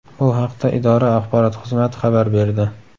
Bu haqda idora axborot xizmati xabar berdi .